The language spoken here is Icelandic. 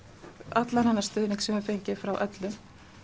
allan þennan stuðning sem við höfum fengið frá öllum